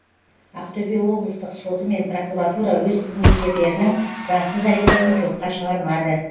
ақтөбе облыстық соты мен прокуратура өз қызметкерлерінің заңсыз әрекетін жоққа шығармады